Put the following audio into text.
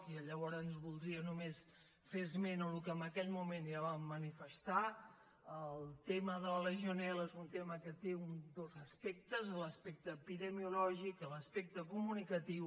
i llavors voldria només fer esment del que en aquell moment ja vam manifestar el tema de la legionel·la és un tema que té dos aspectes l’aspecte epidemiològic i l’aspecte comunicatiu